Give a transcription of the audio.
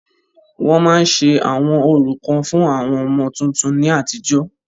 Wọ́n ma ń se àwọn orò kan fún àwọn ọmọ tuntun ni àtijọ́.